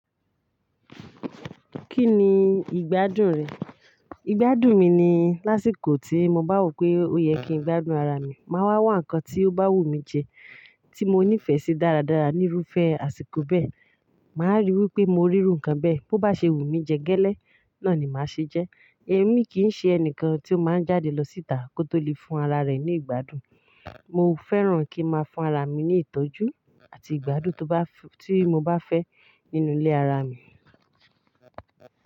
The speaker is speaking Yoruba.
Kí ni ìgbádùn rẹ̀? Ìgbádùn mi ni lásìkò tí mo bá wò pé ó yẹ kí n gbádùn ara mi, máa wá wa nǹkan tí ó bá wùmí jẹ, tí mo nífẹ̀ẹ́ sí dáradára níru fẹ́ àsìkò bẹ́ẹ̀. Màá ríi wí pé mo ríru nǹkan bẹ́ẹ̀, bó bá ṣe wùmí jẹ gẹ́lẹ́, náà ni màá ṣe jẹ. Ẹ̀mí kìí ṣe ẹni kan tí ó máa ń jáde lọ síta kó tó lè fún ara rẹ̀ ní ìgbádùn. Mo fẹ́ràn kí n máa fún ara mi ní ìtọ́jú àti ìgbádùn tó bá ti mo bá fẹ́ nínú ilé ara mi.